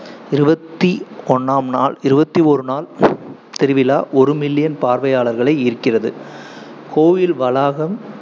இருவத்தி ஒன்னாம் நாள் இருவத்தி ஓரு நாள் திருவிழா ஒரு million பார்வையாளர்களை ஈர்க்கிறது. கோவில் வளாகம்